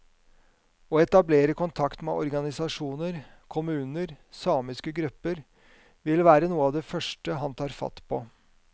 Å etablere kontakt med organisasjoner, kommuner, samiske grupper, vil være noe av det første han tar fatt på.